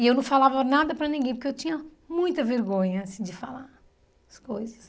E eu não falava nada para ninguém, porque eu tinha muita vergonha, assim, de falar as coisas.